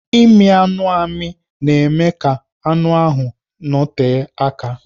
Ịmị anụ amị na-eme ka anụ ahụ nọte aka